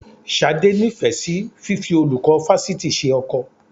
Ṣadé nífẹ̀ẹ́ sí fífi olùkọ́ fásitì ṣe ọkọ